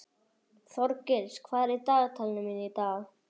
Þorgils, hvað er í dagatalinu mínu í dag?